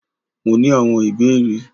Mó ní awon ìbéèrè.